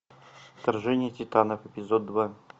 вторжение титанов эпизод два